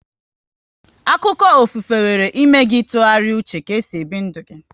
Akụkọ ofufe nwere ịme gị ị tụgharịa uche ka e si ebi ndụ gi